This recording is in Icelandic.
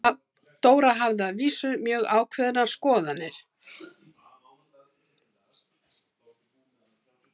Dóra hafði að vísu mjög ákveðnar skoðanir.